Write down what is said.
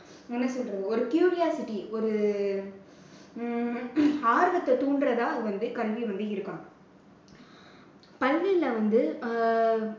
என்ன சொல்றது? ஒரு curiosity ஒரு உம் ஆர்வத்தை தூண்டறதா இது வந்து கல்வி வந்து இருக்கணும். கல்வியில வந்து